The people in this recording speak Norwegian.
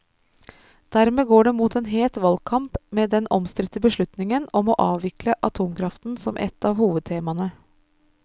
Dermed går det mot en het valgkamp med den omstridte beslutningen om å avvikle atomkraften som ett av hovedtemaene.